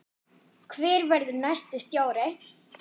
Hver verður næsti stjóri?